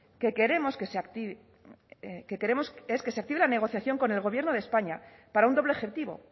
que queremos es que se active la negociación con el gobierno de españa para un doble objetivo